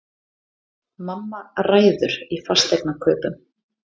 Mamma ræður í fasteignakaupum